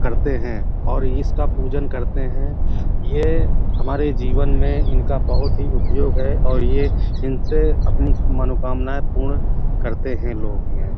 करते हैं और इसका पूजन करते हैं। ये हमारे जीवन में इनका बहुत ही उपयोग है और ये इनसे अपनी मनोकामनाएं पूर्ण करते हैं लोग यह।